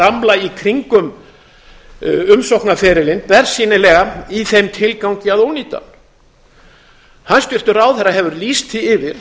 bramla í kringum umsóknarferilinn bersýnilega í þeim tilgangi að ónýta hann hæstvirtur ráðherra hefur lýst því yfir